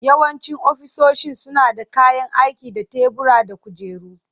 Yawancin ofisoshin suna da kayan aiki da tebura da kujeru.